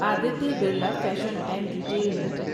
Aditya Birla fashion and retail limited